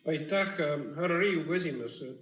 Aitäh, härra Riigikogu esimees!